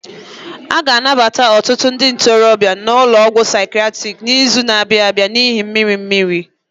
A ga-anabata ọtụtụ ndị ntorobịa n'ụlọ ọgwụ psychiatric n'izu na-abịa n'ihi mmiri mmiri